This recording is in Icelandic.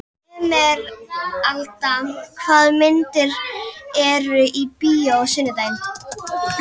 Emeralda, hvaða myndir eru í bíó á sunnudaginn?